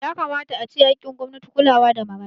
Yakamata ace haƙƙin gwamnati kulawa da marayu